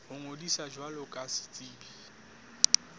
ho ngodisa jwalo ka setsebi